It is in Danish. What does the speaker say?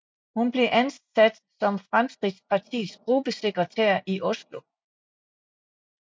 Hun blev ansat som Fremskrittspartiets gruppesekretær i Oslo